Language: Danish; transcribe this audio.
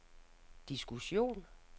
diskussion